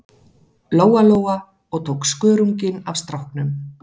Lóa-Lóa og tók skörunginn af stráknum.